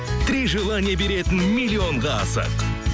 три желание беретін миллионға асық